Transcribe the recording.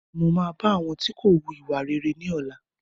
Mo má bá àwọn tí kò wù ìwà rere wí ní ọ̀la